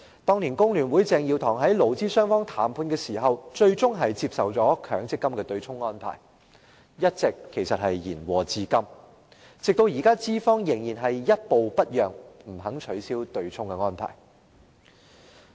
當年工聯會鄭耀棠在勞資雙方談判時最終接受了強積金對沖安排，延禍至今，資方現時仍然一步不讓，不肯取消對沖安排。